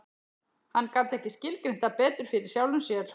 Hann gat ekki skilgreint það betur fyrir sjálfum sér.